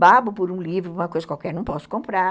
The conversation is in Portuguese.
babo por um livro, uma coisa qualquer, não posso comprar.